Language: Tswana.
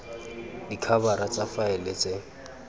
b dikhabara tsa faele tse